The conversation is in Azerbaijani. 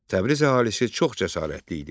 Təbriz əhalisi çox cəsarətli idi.